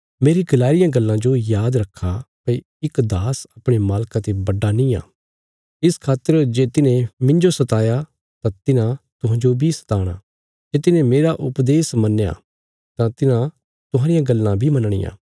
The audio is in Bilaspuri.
मेरी गलाई रियां गल्लां जो याद रखा भई इक दास अपणे मालका ते बडा निआं इस खातर जे तिन्हें मिन्जो सताया तां तिन्हां तुहांजो बी सताणा जे तिन्हें मेरा उपदेश मन्नया तां तिन्हां तुहांरियां गल्लां बी मनणियां